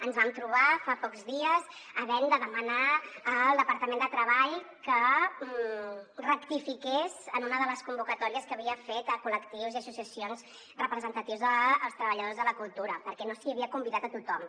ens vam trobar fa pocs dies havent de demanar al departament de treball que rectifiqués en una de les convocatòries que havia fet a col·lectius i associacions representatius dels treballadors de la cultura perquè no s’hi havia convidat a tothom